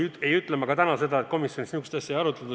Ja ei ütle ma ka täna, et komisjonis seda asja ei arutatud.